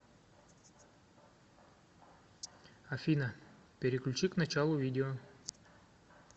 афина переключи к началу видео